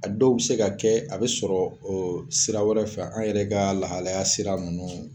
A dɔw be se ka kɛ, a be sɔrɔ ee sira wɛrɛ fɛ an yɛrɛ ka lahalaya sira nunnu